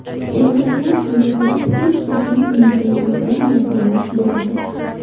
Erkaklar hayotida hech qachon unutilmaydigan lahzalar bo‘ladi.